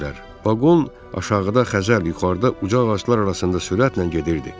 Vaqon aşağıda Xəzər, yuxarıda uca ağaclar arasında sürətlə gedirdi.